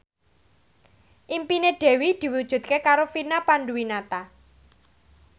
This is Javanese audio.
impine Dewi diwujudke karo Vina Panduwinata